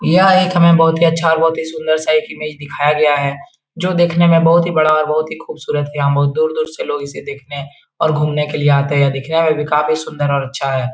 यह एक हमें बहुत ही अच्छा और बहुत ही सुंदर सा एक इमेज दिखाया गया है जो देखने में बहुत ही बड़ा और बहुत ही खूबसूरत है | यहाँ बहुत दूर दूर से लोग इसे देखने और घूमने के लिए आते हैं | दिखने में भी काफी सुंदर और अच्छा है ।